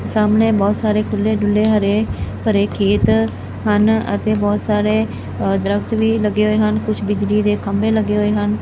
ਸਾਹਮਣੇ ਬੋਹੁਤ ਸਾਰੇ ਖੁੱਲ੍ਹੇ ਡੁੱਲ੍ਹੇ ਹਰੇ ਭਰੇ ਖੇਤ ਹਨ ਅਤੇ ਬੋਹੁਤ ਸਾਰੇ ਦਰੱਖਤ ਵੀ ਲੱਗੇ ਹੋਏ ਹਨ ਕੁਛ ਬਿਜਲੀ ਦੇ ਖੰਭੇ ਲੱਗੇ ਹੋਏ ਹਨ।